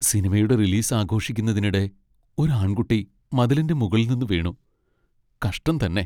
സിനിമയുടെ റിലീസ് ആഘോഷിക്കുന്നതിനിടെ ഒരു ആൺകുട്ടി മതിലിന്റെ മുകളിൽ നിന്ന് വീണു. കഷ്ടം തന്നെ!